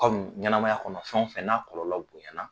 Aw dun ɲɛnamaya kɔnɔ fɛn o fɛn n'a kɔlɔlɔ bonyana